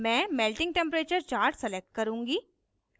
मैं melting temperature chart select करुँगी